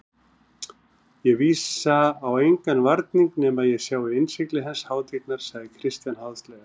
Ég vísa á engan varning nema ég sjái innsigli hans hátignar, sagði Christian háðslega.